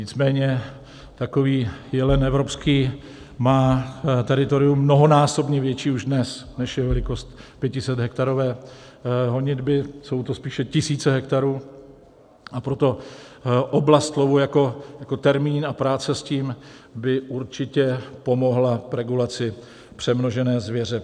Nicméně takový jelen evropský má teritorium mnohonásobně větší už dnes, než je velikost 500hektarové honitby, jsou to spíše tisíce hektarů, a proto "oblast lovu" jako termín a práce s tím by určitě pomohla regulaci přemnožené zvěře.